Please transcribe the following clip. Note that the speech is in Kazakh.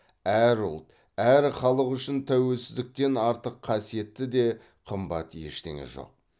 әр ұлт әр халық үшін тәуелсіздіктен артық қасиетті де қымбат ештеңе жоқ